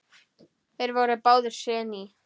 Þeir voru báðir séní.